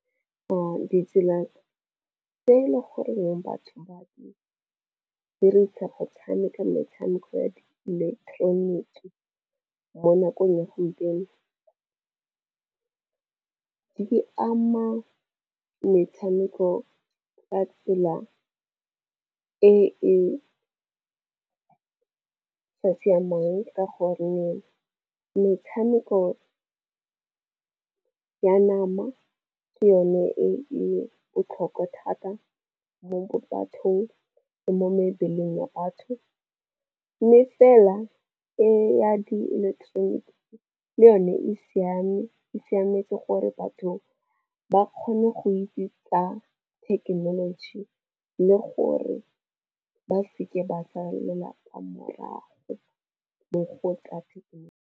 Ditsela tse e le goreng batho ba dirisa go tshameka metshameko ya ileketeroniki mo nakong ya gompieno di ama metshameko ka tsela e e sa siamang. Ka gore metshameko ya nama ke yone e botlhokwa thata mo bathong le mo mebeleng batho. Mme fela e ya di electronic le yone e siame, e siametse gore batho ba kgone go itse tsa thekenoloji le gore ba seke ba salela kwa morago mo go tsa thekenoloji.